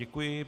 Děkuji.